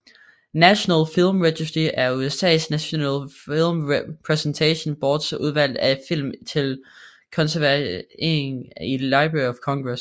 National Film Registry er USAs National Film Preservation Boards udvalg af film til konservering i Library of Congress